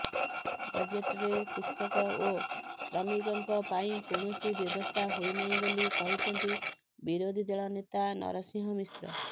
ବଜେଟରେ କୃଷକ ଓ ଶ୍ରମିକଙ୍କ ପାଇଁ କୌଣସି ବ୍ୟବସ୍ଥା ହୋଇନାହିଁ ବୋଲି କହିଛନ୍ତି ବିରୋଧୀଦଳ ନେତା ନରସିଂହ ମିଶ୍ର